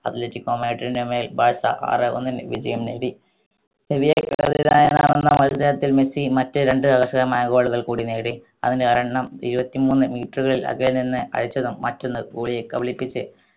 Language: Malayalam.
athletic കോമാട്രിന്റെ മേൽ ബാർസ ആറ് ഒന്നിന് വിജയം നേടി പുതിയ മത്സരത്തിൽ മെസ്സി മറ്റേ രണ്ട് ആവേശകരമായ രണ്ട് goal കൾ കൂടി നേടി അതിൽ ഒരെണ്ണം ഇരുപത്തിമൂന്ന് meter അകലെ നിന്ന് അയച്ചതും മറ്റൊന്ന് goalie യെ കബളിപ്പിച്ച്